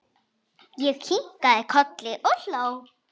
Ég kinkaði kolli og hló.